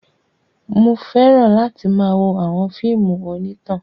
Mo fẹ́ràn láti máa wo àwọn fíìmù onítàn.